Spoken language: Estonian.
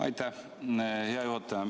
Aitäh, hea juhataja!